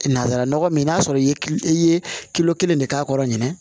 Nanzara nɔgɔ min n'a sɔrɔ i ye i ye kelen de k'a kɔrɔ ɲinɛ